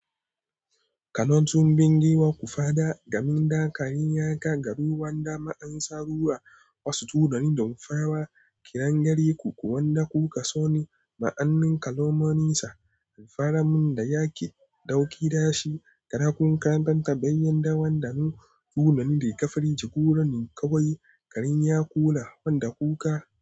Kano tun bindigawa, ku fada gamin dakar yin yaka, garuwan dama an sarruwa wasu turani da mafawa, kirangare ku kuwa na kuka, so ni ma'anin kalmomin sa, alfaramin da ya ki ɗauki dashi, kaɗa kun kantan tabayen dawan damu, tunani da ka firgice, guranin ka wai, gariya kula wanda kuka.